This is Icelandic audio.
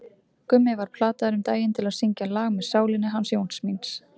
Gummi var plataður um daginn til að syngja lag með Sálinni hans Jóns míns.